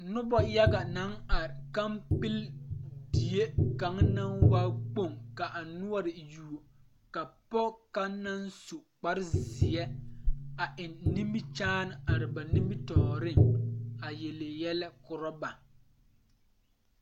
Nobɔ yaga naŋ are kampile die kaŋ naŋ waa kpoŋ ka a noɔre yuo ka pɔge kaŋ naŋ su kparezeɛ a eŋ nimikyaane are ba nimitooreŋ a yele yɛlɛ korɔ ba.